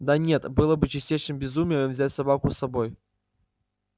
да нет было бы чистейшим безумием взять собаку с собой